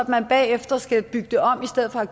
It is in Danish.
bagefter skal bygge det om i stedet for at